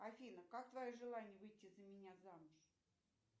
афина как твое желание выйти за меня замуж